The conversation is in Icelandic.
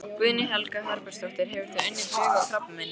Guðný Helga Herbertsdóttir: Hefur þú unnið bug á krabbameininu?